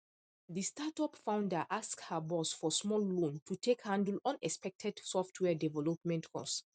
the startup founder ask her boss for small loan to take handle unexpected software development cost